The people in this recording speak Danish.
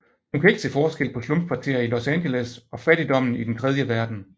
Hun kan ikke se forskel på slumkvarterer i Los Angeles og fattigdommen i den tredje verden